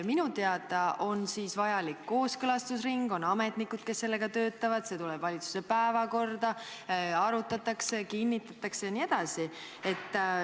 Minu teada on siis vajalik kooskõlastusring, on ametnikud, kes sellega töötavad, see tuleb valitsuse päevakorda, arutatakse, kinnitatakse jne.